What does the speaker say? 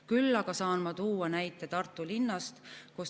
Küll aga saan ma tuua näite Tartu linnast.